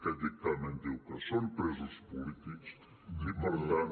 aquest dictamen diu que són presos polítics i per tant